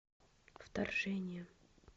вторжение